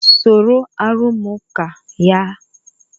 Soro arụmụka a!